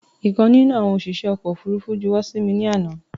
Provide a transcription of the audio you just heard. Ìkan nínú àwọn òṣìṣẹ́ ọkọ̀ ofúrufú juwọ́ sí mi ní àná